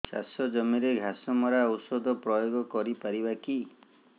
ଚାଷ ଜମିରେ ଘାସ ମରା ଔଷଧ ପ୍ରୟୋଗ କରି ପାରିବା କି